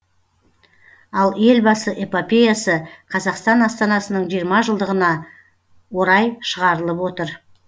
ал елбасы эпопеясы қазақстан астанасының жиырма жылдығына орай шығарылып отыр